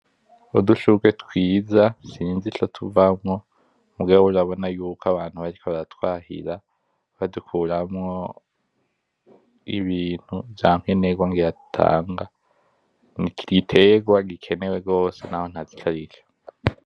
Udushugwe twiza sinzi ico tuvamwo muga urabona ko abantu bariko baratwahira ,batuvanamwo Ibintu vayankenerwa ngira dutanga ni igiterwa gitenewe gose naho ntazi icarico .